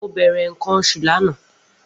Mo bere nkan osu lana.